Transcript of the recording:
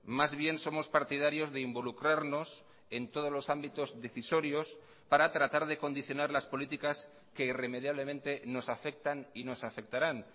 más bien somos partidarios de involucrarnos en todos los ámbitos decisorios para tratar de condicionar las políticas que irremediablemente nos afectan y nos afectarán